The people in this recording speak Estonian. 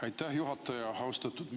Aitäh, juhataja!